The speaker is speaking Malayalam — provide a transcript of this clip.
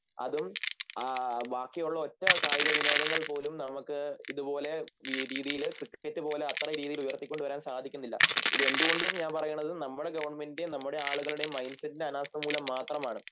അതും ബാക്കിയുള്ള ഒറ്റ കായികവിനോദങ്ങൾ പോലും നമുക്ക് ഇതുപോലെ രീതിയില് ക്രിക്കറ്റ് പോലെ അത്ര രീതിയിലുയർത്തികൊണ്ടുവരാൻ സാധിക്കുന്നില്ല ഇത് എന്തുകൊണ്ടും ഞാൻ പറയണത് നമ്മുടെ ഗവൺമെൻറ് നമ്മുടെ ആളുകളുടെ മൈൻഡ്‌സെറ്റിൻ്റെ അനാസ്ഥ മൂലം മാത്രമാണ്